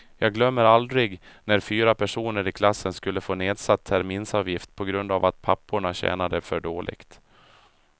Jag glömmer aldrig när fyra personer i klassen skulle få nedsatt terminsavgift på grund av att papporna tjänade för dåligt.